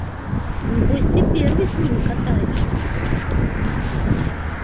небось ты первый с ним и катаешься